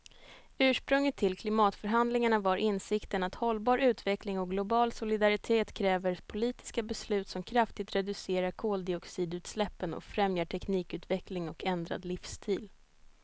Ursprunget till klimatförhandlingarna var insikten att hållbar utveckling och global solidaritet kräver politiska beslut som kraftigt reducerar koldioxidutsläppen och främjar teknikutveckling och ändrad livsstil.